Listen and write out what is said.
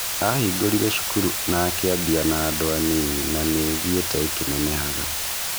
Ahingũrire cukuru na akiambia na andũ anini na nĩthite ikĩnenehaga.